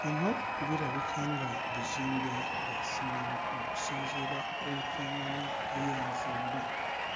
Bino birabika nga bizimbe bya ssomero okusinziira ku nfaanana y'enzimba.